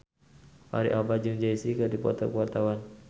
Fachri Albar jeung Jay Z keur dipoto ku wartawan